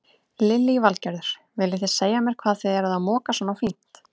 Lillý Valgerður: Viljið þið segja mér hvað þið eruð að moka svona fínt?